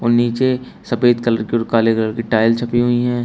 नीचे सफेद कलर की और काले कलर की टाइल्स छपी हुई हैं।